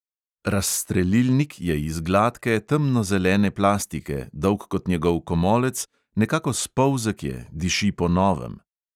Razstrelilnik je iz gladke, temnozelene plastike, dolg kot njegov komolec, nekako spolzek je, diši po novem.